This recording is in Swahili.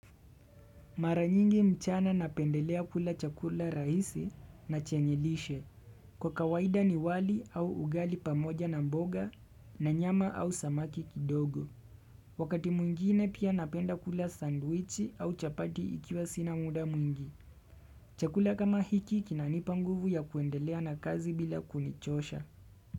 Maranyingi mchana napendelea kula chakula rahisi na chenyelishe. Kwa kawaida ni wali au ugali pamoja na mboga na nyama au samaki kidogo. Wakati mwingine pia napenda kula sandwichi au chapati ikiwa sina muda mwingi. Chakula kama hiki kinanipa nguvu ya kuendelea na kazi bila kunichosha.